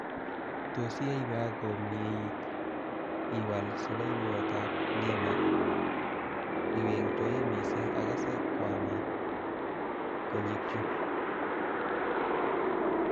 Tos iyaiwa komieit iwal salaiwotab nema ingwengtoi mising akase kwama konyekchu